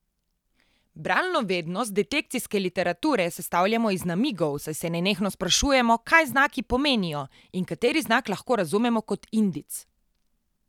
Bralno vednost detekcijske literature sestavljamo iz namigov, saj se nenehno sprašujemo, kaj znaki pomenijo in kateri znak lahko razumemo kot indic.